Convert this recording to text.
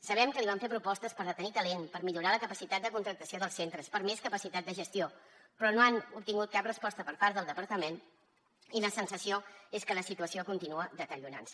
sabem que li van fer propostes per retenir talent per millorar la capacitat de contractació dels centres per més capacitat de gestió però no han obtingut cap resposta per part del departament i la sensació és que la situació continua deteriorant se